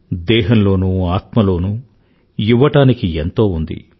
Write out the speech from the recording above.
దేహం లోనూ ఆత్మలోనూ ఇవ్వడానికి ఎంతో ఉంది